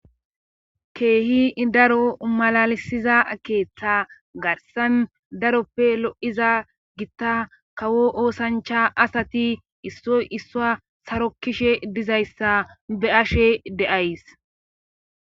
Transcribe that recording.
keehi daro malalisiza keeththa garsan daroppe lo7iza gitta kawo oosancha asati issoy issua saro kishe dizayssa be ashe deays